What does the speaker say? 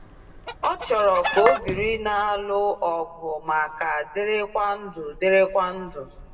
Ọ chọrọ ka obiri n'alụ ọgụ ma ka dịrị kwa ndụ. dịrị kwa ndụ.